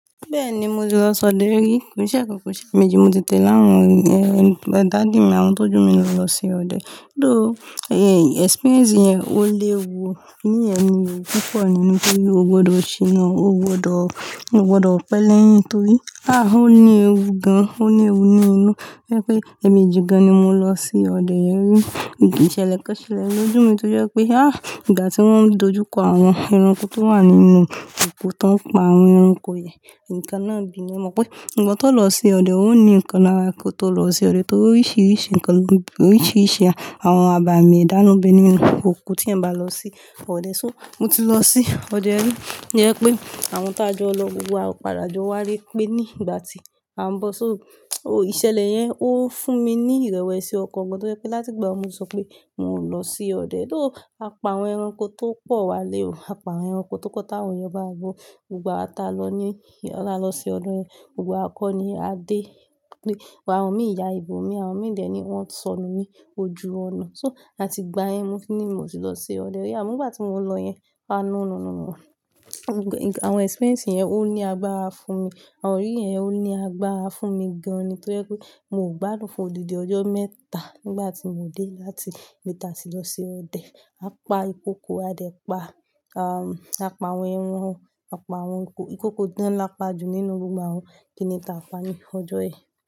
Bẹ́ẹ̀ni, mo ti lọ sọdẹ rí, kò i seẹ̀kan. Ko i seemeji ni mo ti tèlawon, ẹ́, daddy mi àwọn tó ju mi lọ lọ se ọdẹ. Though ẹ́, experience yẹn ó léwu kinni yen ni ẹ̀wu púpọ̀ nínú pé o gbọdọ̀ ṣíná, o gbọdọ̀, o gbọdọ̀ pẹ́ lẹ́yìn torí ah, ó ní ewu gan, ó ní ewu ni inú. To jẹ́ pé ẹ̀emeji gan ni mo lọ sí ọdẹ yen rí. Ìṣẹlẹ̀ kan ṣelẹ̀ lójú mi tó jẹ́ pé ah, ìgbà tí wọ́n dojú kọ àwọn ẹranko tó wà nínú òko tó ń pa àwọn ẹranko yẹn, ǹkan náà bì. Mo mọ̀ pé iwo tó lọ se ọdẹ ó ní ǹkan lára kó tó lọ se ọdẹ torí oríṣiríṣi ǹkan ló bí, oríṣiríṣi àwọn àbàmì edá nán be nínú òko tí ẹ̀yan bá lọ sí ọdẹ. So, mo ti lọ sí ọdẹ rí. To jẹ́ pé àwọn tá jọ lọ gbogbo wa padà jọ wále pé ní ìgbà tí à ń bọ̀. So, o-- ìṣẹ̀lẹ̀ yẹn ó fún mi ní ìrẹ̀wẹ̀sì ọkàn gan to jẹ́ pé láti ìgbàun ni mo ti sọ pé uńo lọ sí ọdẹ. Though, a pa àwọn ẹranko tó pọ̀ wálé ò. A pa àwọn ẹranko tópo táwon eyan bawa gbó. Gbogbo awa ta lọ ní, taa la lọ sí ọde yẹn, gbogbo wa kọ́ ni a déle pé, awon mí yá ibòmí, àwọn mìi dẹ̀ ni wọn sọnù ní ojú ọ̀nà. So, atigbá yen mo ti ní mo ti lọ sí ọdẹ rí. Àmo nígbà tí mo lọ yẹn, a no no no. Àwọn experience yẹn ó ní agbára fún mi. Àwọn iríri yẹn ó ní agbára fún mi gan ni to jẹ́ pé miò gbádùn fún odidi ọjọ́ mẹ́ta nígbà tí mò dé láti ibi ta ti lọ se ọdẹ. A pa ìkokò, a dé pa, a, a pa àwọn ẹranko, a pa àwọn ìkokò. Ìkokò gan lá pa jù nínú gbogbo àwọn kínni taa pa ní ọjọ́ yẹn.